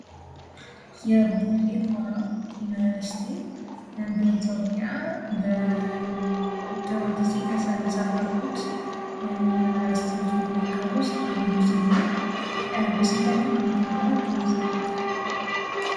የቡሌ ሆራ ዩኒቨርስቲ በኢትዮጵያ በድሮ ጊዜ ከተመሠረቱት ዩኒቨርስቲዎች መካከል ውስጥ አንዱ ሲሆን በስንተኛው ዓመተ ምረት ተመሰረተ?